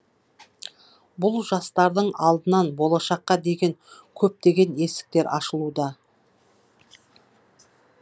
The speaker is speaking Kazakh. бұл жастардың алдынан болашаққа деген көптеген есіктер ашылуда